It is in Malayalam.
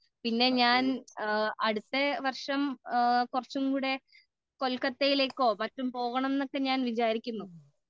പിന്നെ ഞാൻ അടുത്ത വര്ഷം കുറച്ചുംകൂടെ കൊല്കത്തയിലേക്കുമൊ മറ്റും പോകണം എന്ന് ഞാൻ വിചാരിക്കുന്നു